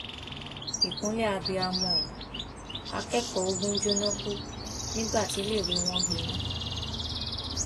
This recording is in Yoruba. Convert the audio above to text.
ìkúnlẹ abiyamọ o akẹkọọ ogun jóná kú nígbà tíléèwé wọn gbiná